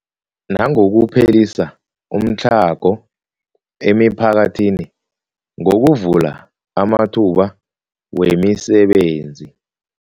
Nangokuphelisa umtlhago emiphakathini ngokuvula amathuba wemisebenzi.